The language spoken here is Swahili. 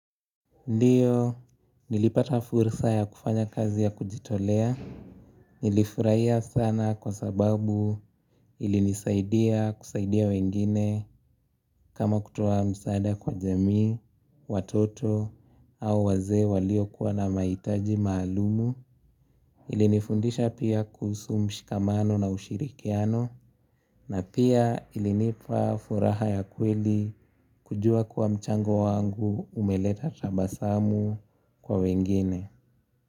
Ndiyo nilipata fursa ya kufanya kazi ya kujitolea. Nilifurahia sana kwa sababu ilinisaidia kusaidia wengine. Kama kutoa msaada kwa jamii, watoto au wazee waliokuwa na mahitaji maalum. Ilinifundisha pia kuhusu mshikamano na ushirikiano. Na pia ilinipa furaha ya kweli kujua kuwa mchango wangu umeleta tabasamu kwa wengine.